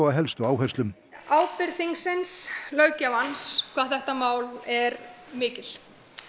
á helstu áherslum ábyrgð þingsins löggjafans hvað þetta mál er mikil